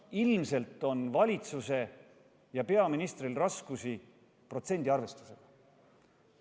Ilmselt on valitsusel ja peaministril raskusi protsendiarvestusega.